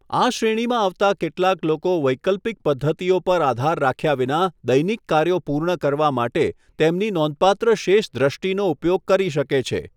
આ શ્રેણીમાં આવતા કેટલાક લોકો વૈકલ્પિક પદ્ધતિઓ પર આધાર રાખ્યા વિના દૈનિક કાર્યો પૂર્ણ કરવા માટે તેમની નોંધપાત્ર શેષ દ્રષ્ટિનો ઉપયોગ કરી શકે છે.